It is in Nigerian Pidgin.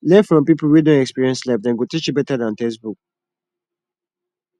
learn from people wey don experience life dem go teach you better than textbook